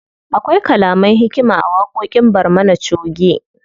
Akwai kalaman hikima a waƙoƙin barmana choge.